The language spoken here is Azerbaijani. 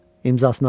İmzasına bax.